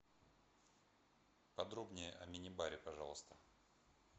подробнее о мини баре пожалуйста